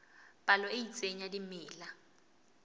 palo e itseng ya dimela